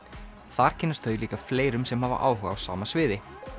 þar kynnast þau líka fleirum sem hafa áhuga á sama sviði